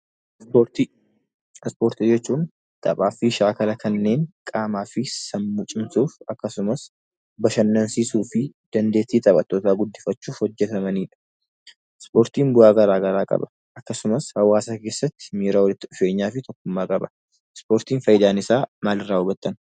Ispoortii. Ispoortii jechuun taphaa fi shaakala kanneen qaamaa fi sammuu cimsuuf akkasumas bashannansiisuu fi dandeettii taphattootaa guddifachuuf hojjetamaniidha. Ispoortiin bu'aa garaa garaa qaba. Akkasumas hawaasa keessatti miira walitti dhufeenyaa fi tokkummaa qaba. Ispoortiin faayidaan isaa maalin raawwatama?